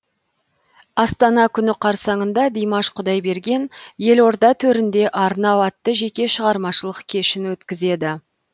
астана күні қарсаңында димаш құдайберген елорда төрінде арнау атты жеке шығармашылық кешін өткізеді